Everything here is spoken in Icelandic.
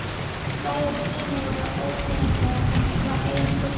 Bræður Gínu voru óteljandi en hún var eina stúlkan.